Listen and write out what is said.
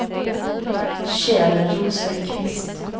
Kjell Rosenqvist